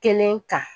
Kelen kan